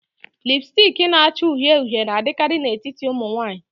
Lipusticki na-acha uhie uhie na-adịkarị n'etiti ụmụ nwanyị.